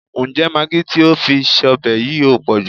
Ǹjẹ́ magi tí o fi sọ́bẹ̀ yìí ò pọ̀jù?